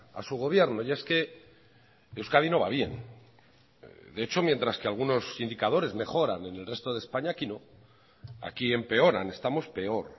a su gobierno y es que euskadi no va bien de hecho mientras que algunos indicadores mejoran en el resto de españa aquí no aquí empeoran estamos peor